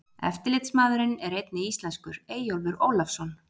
Eftirlitsmaðurinn er einnig íslenskur, Eyjólfur Ólafsson.